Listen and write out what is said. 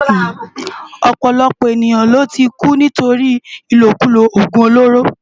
Òpòlòpò éniyán ló ti kú nitóri ilókúló ógún ólóró